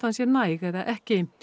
sé næg eða ekki